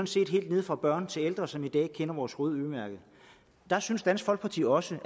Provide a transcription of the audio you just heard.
set helt fra børn til ældre som i dag kender vores røde ø mærke der synes dansk folkeparti også